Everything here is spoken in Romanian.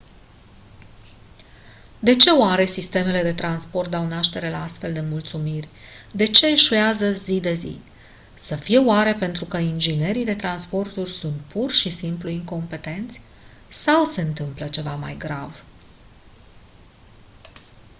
de ce oare sistemele de transport dau naștere la astfel de nemulțumiri de ce eșuează zi de zi să fie oare pentru că inginerii de transporturi sunt pur și simplu incompetenți sau se întâmplă ceva mai grav